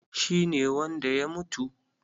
Shi ne wanda ya mutu?